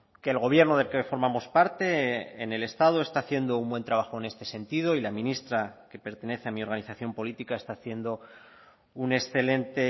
que el gobierno del que formamos parte en el estado está haciendo un buen trabajo en este sentido y la ministra que pertenece a mi organización política está haciendo un excelente